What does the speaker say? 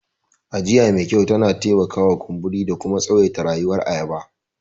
Ajiya me kyau tana taimakawa hana kumburi da kuma tsawaita rayuwar ayaba.